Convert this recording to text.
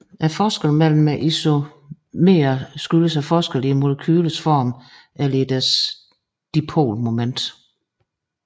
Forskellene mellem isomererne skyldes forskel i molekylernes form eller i deres dipolmoment